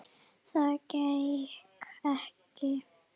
Það gekk ekki